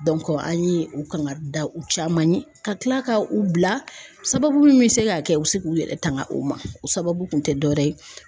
an ye u kangari da u caman ye ka kila ka u bila sababu min bɛ se ka kɛ u bɛ se k'u yɛrɛ tanga u ma o sababu kun tɛ dɔwɛrɛ ye